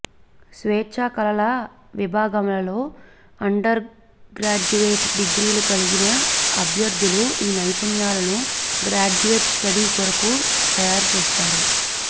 స్వేచ్ఛా కళల విభాగాలలో అండర్గ్రాడ్యుయేట్ డిగ్రీలు కలిగిన అభ్యర్థులు ఈ నైపుణ్యాలను గ్రాడ్యుయేట్ స్టడీ కొరకు తయారుచేస్తారు